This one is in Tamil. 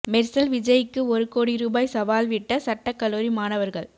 மெர்சல் விஜய்க்கு ஒரு கோடி ரூபாய் சவால் விட்ட சட்டக்கல்லூரி மாணவர்கள்